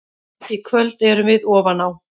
Í kvöld erum við ofan á.